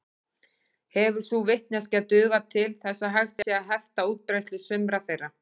Hefur sú vitneskja dugað til þess að hægt sé að hefta útbreiðslu sumra þeirra.